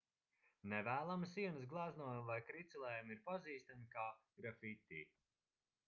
nevēlami sienas gleznojumi vai kricelējumi ir pazīstami kā grafiti